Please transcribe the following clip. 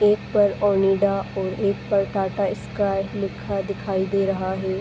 एक पर ओनिडा और एक पर टाटा स्काई लिखा दिखाई दे रहा है।